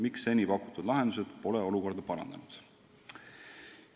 Miks seni pakutud lahendused pole olukorda parandanud?